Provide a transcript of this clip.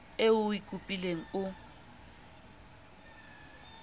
eo o e kopileng o